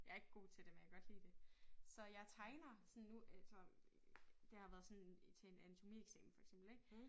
Jeg ikke god til det men jeg kan godt lide det så jeg tegner sådan nu øh så det har været sådan til en anatomieksamen for eksempel ik